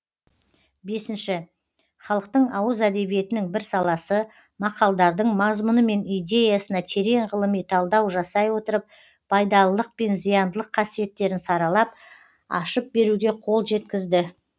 бесінші халықтың ауыз әдебиетінің бір саласы мақалдардың мазмұны мен идеясына терең ғылыми талдау жасай отырып пайдалылық пен зияндылық қасиеттерін саралап ашып беруге қол жеткізді